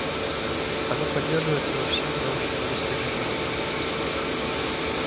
оно поддерживает его всеми научными достижениями